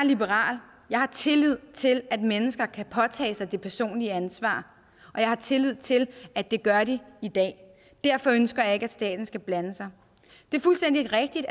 liberal jeg har tillid til at mennesker kan påtage sig det personlige ansvar og jeg har tillid til at det gør de i dag derfor ønsker jeg ikke at staten skal blande sig det er fuldstændig rigtigt